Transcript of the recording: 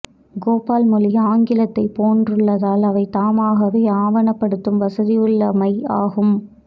கோபால் மொழி ஆங்கிலத்தைப் போன்றுள்ளதால் அவை தாமாகவே ஆவணப்படுத்தும் வசதியுள்ளவை ஆகும்